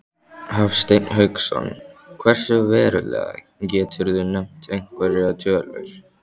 Hafsteinn Hauksson: Hversu verulega, geturðu nefnt einhverjar tölur?